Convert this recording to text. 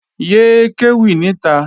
Yé é kéwì níta!